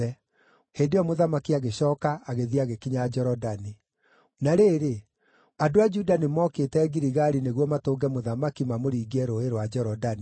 Hĩndĩ ĩyo mũthamaki agĩcooka agĩthiĩ agĩkinya Jorodani. Na rĩrĩ, andũ a Juda nĩmookĩte Giligali nĩguo matũnge mũthamaki mamũringie Rũũĩ rwa Jorodani.